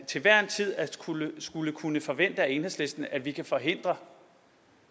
til hver en tid at skulle skulle kunne forvente af enhedslisten at vi kan forhindre